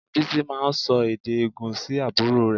Bísí máa ń sọ èdè ègùn sí àbúrò rẹ̀